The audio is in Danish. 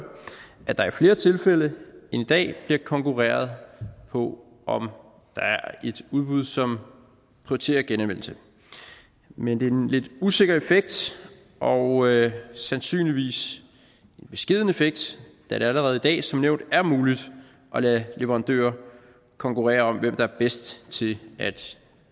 at der i flere tilfælde end i dag vil blive konkurreret på om der er et udbud som prioriterer genanvendelse men det er en lidt usikker effekt og sandsynligvis en beskeden effekt da det allerede i dag som nævnt er muligt at lade leverandører konkurrere om hvem der er bedst til at